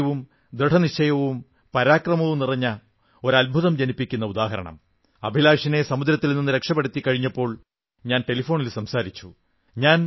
ധൈര്യവും ദൃഢനിശ്ചയവും പരാക്രമവും നിറഞ്ഞ ഒരു അദ്ഭുതം ജനിപ്പിക്കുന്ന ഉദാഹരണം അഭിലാഷിനെ സമുദ്രത്തിൽ നിന്ന് രക്ഷപ്പെടുത്തിക്കഴിഞ്ഞപ്പോൾ ഞാൻ ടെലിഫോണിൽ സംസാരിച്ചു